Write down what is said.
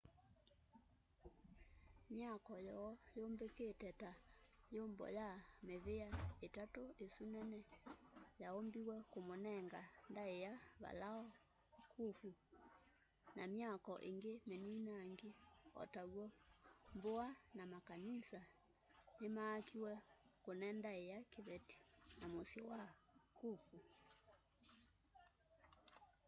myaako yoo yumbikite ta yumbo y mivia itatu isu nene yaumbiwe kumunenga ndaia valao khufu na myaako ingi mininangi o taw'o mbua na makanisa nimaakiwe kune ndaia kiveti namusyi wa khufu